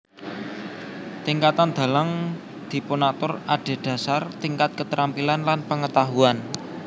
Tingkatan dalang dipunatur adhedhasar tingkat keterampilan lan pengetahuan